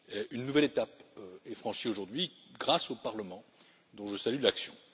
Une nouvelle étape est franchie, aujourd'hui, grâce au Parlement, dont je salue l'action.